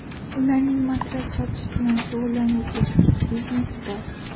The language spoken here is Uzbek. Ularning matras sotish bilan shug‘ullanuvchi kichik biznesi bor.